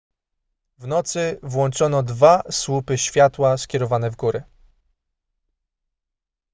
w nocy włączono dwa słupy światła skierowane w górę